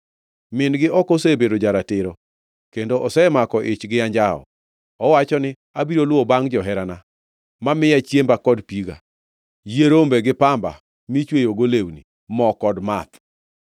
Min-gi ok osebedo ja-ratiro kendo osemako ich gi anjawo. Owacho ni, ‘Abiro luwo bangʼ joherana, mamiya chiemba kod piga, yie rombe gi pamba michweyogo lewni, mo kod math.’